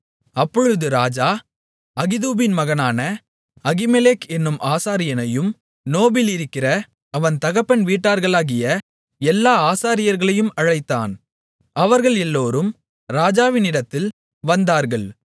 அப்பொழுது ராஜா அகிதூபின் மகனான அகிமெலேக் என்னும் ஆசாரியனையும் நோபிலிருக்கிற அவன் தகப்பன் வீட்டார்களாகிய எல்லா ஆசாரியர்களையும் அழைத்தான் அவர்கள் எல்லாரும் ராஜாவினிடத்தில் வந்தார்கள்